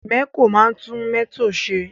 Mẹ̀kó máa ń tún mọ́tò ṣe.